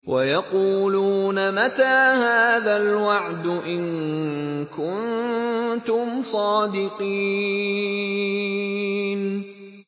وَيَقُولُونَ مَتَىٰ هَٰذَا الْوَعْدُ إِن كُنتُمْ صَادِقِينَ